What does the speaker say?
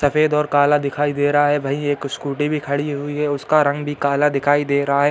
सफ़ेद और काला दिखाई दे रहा है। वही एक स्कूटी भी खड़ी हुई है। उसका रंग भी काला दिखाई दे रहा है।